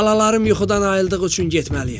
Balalarım yuxudan ayıldığı üçün getməliyəm.